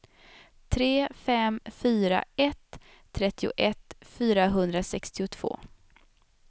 tre fem fyra ett trettioett fyrahundrasextiotvå